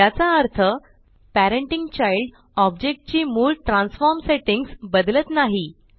याचा अर्थ parenting child object ची मूळ ट्रॅन्सफॉर्म सेट्टिंग्स बदलत नाही